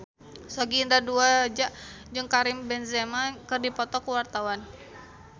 Sogi Indra Duaja jeung Karim Benzema keur dipoto ku wartawan